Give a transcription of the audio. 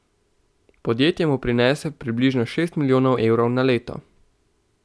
Podjetje mu prinese približno šest milijonov evrov na leto.